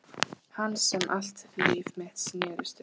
Hans sem allt líf mitt snerist um.